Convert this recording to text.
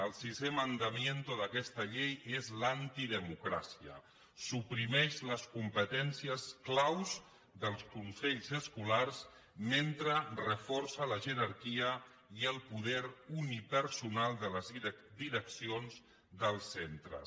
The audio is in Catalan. el sisè mandamiento d’aquesta llei és l’antidemocràcia suprimeix les competències clau dels consells escolars mentre reforça la jerarquia i el poder unipersonal de les direccions dels centres